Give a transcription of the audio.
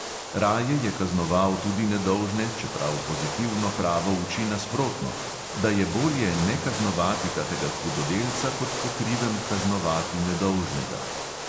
Raje je kaznoval tudi nedolžne, čeprav pozitivno pravo uči nasprotno – da je bolje nekaznovati kakega hudodelca, kot po krivem kaznovati nedolžnega.